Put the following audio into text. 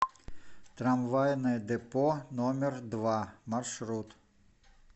трамвайное депо номер два маршрут